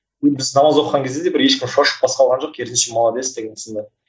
енді біз намаз оқыған кезде де бір ешкім шошып қарсы алған жоқ керісінше молодец деген сынды